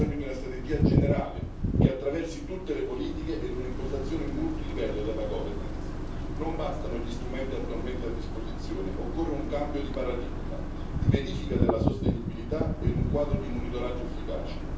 Abbiamo bisogno di una strategia generale che attraversi tutte le politiche ed una impostazione multilivello della governance. Non bastano gli strumenti attualmente a disposizione occorrono un cambio di paradigma, verifica della sostenibilità ed un quadro di monitoraggio efficace.